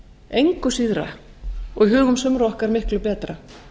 engu síðra og í hugum sumra okkar miklu betra